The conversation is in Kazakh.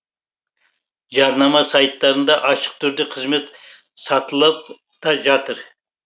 жарнама сайттарында ашық түрде қызмет сатылып та жатыр